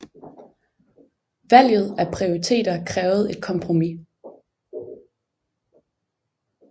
Valget af prioriteter krævede et kompromis